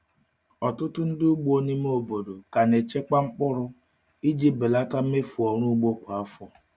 Ọtụtụ ndị ugbo ime obodo ka na-echekwa mkpụrụ iji belata mmefu ọrụ ugbo kwa afọ.